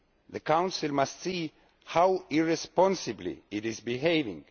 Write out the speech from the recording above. The Council must see how irresponsibly it is behaving.